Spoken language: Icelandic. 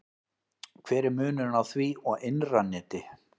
hver er munurinn á því og innra neti